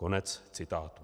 Konec citátu.